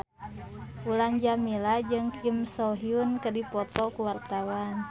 Mulan Jameela jeung Kim So Hyun keur dipoto ku wartawan